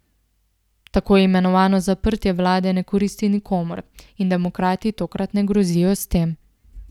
Tako imenovano zaprtje vlade ne koristi nikomur in demokrati tokrat ne grozijo s tem.